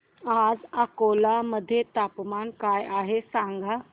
आज अकोला मध्ये तापमान काय आहे सांगा